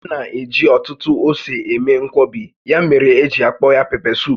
A na-eji ọtụtụ ose eme nkwọbi, ya mere eji akpọ aha ya..pepesuup